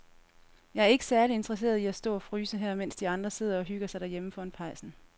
Jeg er ikke særlig interesseret i at stå og fryse her, mens de andre sidder og hygger sig derhjemme foran pejsen.